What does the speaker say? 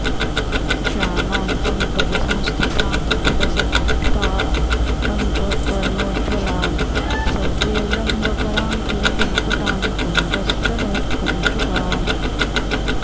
श्यामां पङ्कजसंस्थितां मणिलसत्ताटङ्क कर्णोज्ज्वलां सव्ये लम्बकरां किरीटमकुटां तुङ्गस्तनोत्कञ्चुकाम्